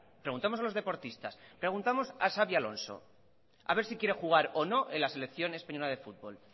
preguntemos a los deportistas preguntemos a xabi alonso a ver si quiere jugar o no en la selección española de fútbol